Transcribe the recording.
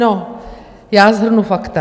No, já shrnu fakta.